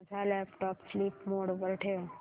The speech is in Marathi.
माझा लॅपटॉप स्लीप मोड वर ठेव